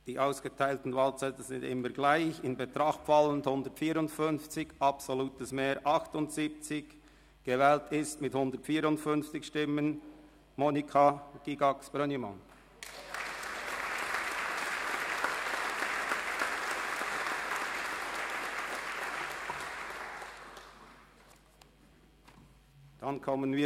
Bei 157 ausgeteilten und 157 eingegangenen Wahlzetteln, wovon leer 3 und ungültig 0, in Betracht fallend 154, wird bei einem absoluten Mehr von 78 gewählt: